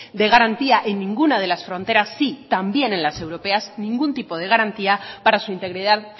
de garantía en ninguna de las fronteras sí también en las europeas ningún tipo de garantía para su integridad